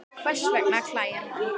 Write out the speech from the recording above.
Hvers vegna klæjar mann?